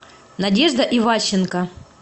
надежда иващенко